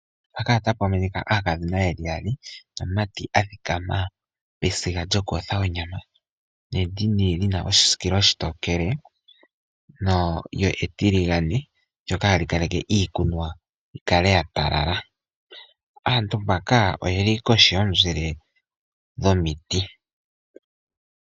Aakadhona yaali, osho wo omumati a dhikama pesiga lyoku yotha onyama. Endini olyi na oshisikilo oshitokele lyo etiligane, ohali kaleke iikunwa opo yi kale ya talala. Aantu oyeli kohi yomuzile dhomiti.